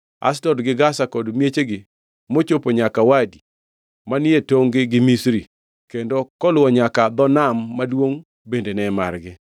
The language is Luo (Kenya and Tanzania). Ashdod gi Gaza kod miechgi mochopo nyaka Wadi manie tongʼ-gi gi Misri, kendo koluwo nyaka dho Nam Maduongʼ bende ne margi.